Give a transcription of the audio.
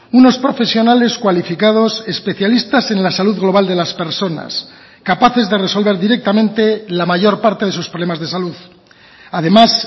unos profesionales cualificados especialistas en la salud global de las personas capaces de resolver directamente la mayor parte de sus problemas de salud además